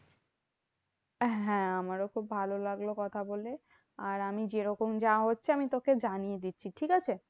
হ্যাঁ আমারও খুব ভালো লাগলো কথা বলে। আর আমি যেরকম যা হচ্ছে আমি তোকে জানিয়ে দিচ্ছি ঠিকাছে?